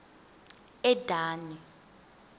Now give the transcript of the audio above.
edani